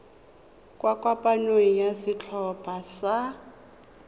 kwa kopanong ya setlhopha sa